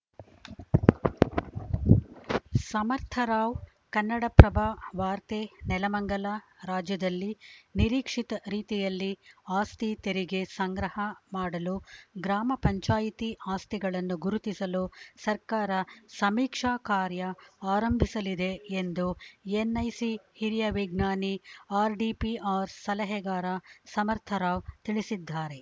ಸಮರ್ಥರಾವ್‌ ಕನ್ನಡಪ್ರಭ ವಾರ್ತೆ ನೆಲಮಂಗಲ ರಾಜ್ಯದಲ್ಲಿ ನಿರೀಕ್ಷಿತ ರೀತಿಯಲ್ಲಿ ಆಸ್ತಿ ತೆರಿಗೆ ಸಂಗ್ರಹ ಮಾಡಿಲು ಗ್ರಾಮ ಪಂಚಾಯಿತಿ ಆಸ್ತಿಗಳನ್ನು ಗುರುತಿಸಲು ಸರ್ಕಾರ ಸಮೀಕ್ಷಾ ಕಾರ್ಯ ಆರಂಭಿಸಲಿದೆ ಎಂದು ಎನ್‌ಐಸಿ ಹಿರಿಯ ವಿಜ್ಞಾನಿ ಆರ್‌ಡಿಪಿಆರ್‌ ಸಲಹೆಗಾರ ಸಮರ್ಥರಾವ್‌ ತಿಳಿಸಿದ್ದಾರೆ